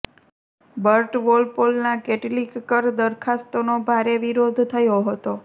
Burt વોલપોલના કેટલીક કર દરખાસ્તોનો ભારે વિરોધ થયો હતો